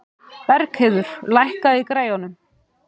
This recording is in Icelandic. Bergheiður, lækkaðu í græjunum.